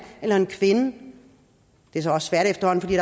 eller en kvinde det er så også svært efterhånden fordi